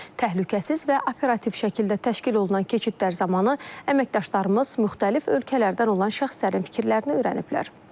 Təhlükəsiz və operativ şəkildə təşkil olunan keçidlər zamanı əməkdaşlarımız müxtəlif ölkələrdən olan şəxslərin fikirlərini öyrəniblər.